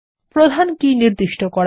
প্রধান কী নির্দিষ্ট করা